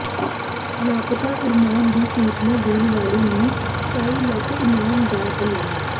ਲਾਪਤਾ ਅਰਮਾਨ ਦੀ ਸੂਚਨਾ ਦੇਣ ਵਾਲੇ ਨੂੰ ਢਾਈ ਲੱਖ ਇਨਾਮ ਦਾ ਐਲਾਨ